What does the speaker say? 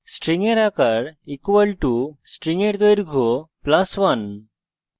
string এর আকার = string এর দৈর্ঘ্য + 1